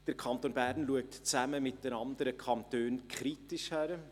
Der Kanton Bern schaut zusammen mit den anderen Kantonen kritisch hin;